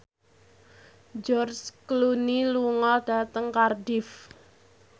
George Clooney lunga dhateng Cardiff